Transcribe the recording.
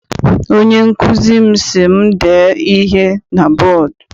Onye nkụzi m si m dee ihe na bọdu.